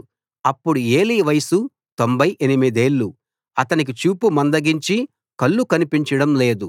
అప్పుడు ఏలీ వయసు తొంభై ఎనిమిదేళ్లు అతనికి చూపు మందగించి కళ్ళు కనిపించడం లేదు